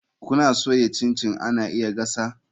Kuna soya chin chin ana iya gasa.